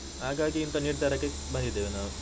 ಹಾಗಾಗಿ ಇಂತ ನಿರ್ಧಾರಕ್ಕೆ ಬಂದಿದ್ದೇವೆ ನಾವು.